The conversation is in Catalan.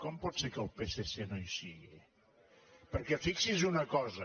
com pot ser que el psc no hi sigui perquè fixi’s en una cosa